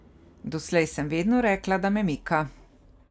Doslej sem vedno rekla, da me mika.